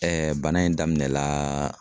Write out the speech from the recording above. bana in daminɛnaaa